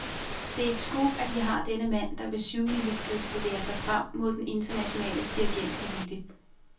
Det er et scoop, at vi har denne mand, der med syvmileskridt bevæger sig frem mod den internationale dirigentelite.